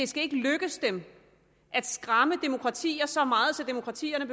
skal lykkes dem at skræmme demokratier så meget at demokratierne